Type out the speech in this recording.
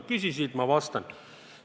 Sa küsisid, ma vastan.